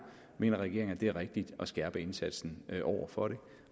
mener regeringen at det er rigtigt at skærpe indsatsen over for det